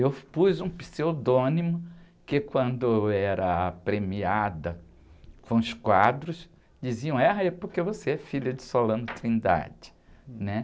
Eu pus um pseudônimo que, quando era premiada com os quadros, diziam, é porque você é filha de, né?